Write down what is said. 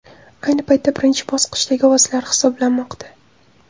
Ayni paytda birinchi bosqichdagi ovozlar hisoblanmoqda.